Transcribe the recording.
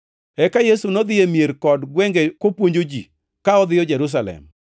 Eka Yesu nodhi e mier kod gwenge kopuonjo ji ka odhiyo Jerusalem.